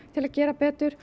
til að gera betur